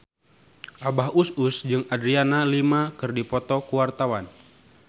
Abah Us Us jeung Adriana Lima keur dipoto ku wartawan